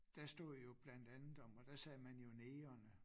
Der stod jo blandt andet om og der sagde man jo negerne